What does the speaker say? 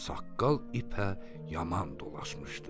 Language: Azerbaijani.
Saqqal ipə yaman dolaşmışdı.